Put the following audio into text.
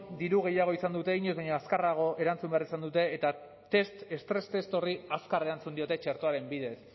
diru gehiago izan dute inoiz baino azkarrago erantzun behar izan dute eta estres test horri azkar erantzun diote txertoaren bidez